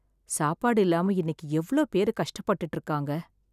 சாப்பாடு இல்லாம இன்னைக்கு எவ்ளோ பேரு கஷ்டப்பட்டு இருக்காங்க.